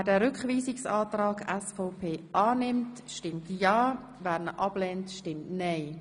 Wer diesen Rückweisungsantrag annimmt, stimmt ja, wer dies ablehnt, stimmt nein.